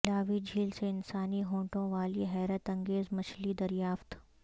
ملاوی جھیل سے انسانی ہونٹوں والی حیرت انگیز مچھلی دریافت